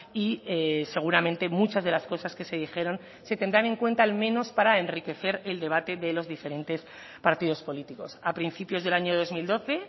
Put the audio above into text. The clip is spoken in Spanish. y seguramente muchas de las cosas que se dijeron se tendrán en cuenta al menos para enriquecer el debate de los diferentes partidos políticos a principios del año dos mil doce